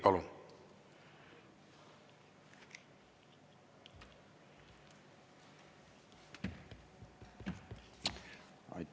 Palun!